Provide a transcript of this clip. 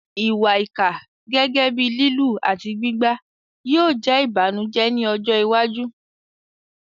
Ìwà ìkà, gẹ́gẹ́ bíi lílù àti gbígbá, yóò jẹ́ ìbànújẹ́ ní ọjọ́ iwájú.